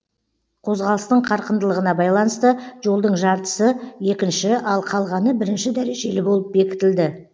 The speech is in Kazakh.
қозғалыстың қарқындылығына байланысты жолдың жартысы екінші ал қалғаны бірінші дәрежелі болып бекітілді